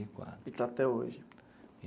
E quatro. E está até hoje?